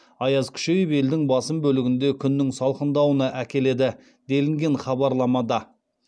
аяз күшейіп елдің басым бөлігінде күннің салқындауына әкеледі делінген хабарламада